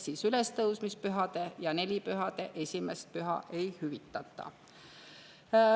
Seega ülestõusmispühade ja nelipühade esimest püha ei hüvitata.